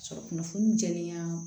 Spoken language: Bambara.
Sɔrɔ kunnafoni dili la